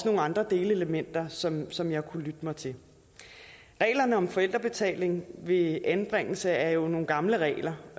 nogle andre delelementer som som jeg kunne lytte mig til reglerne om forældrebetaling ved anbringelse er jo nogle gamle regler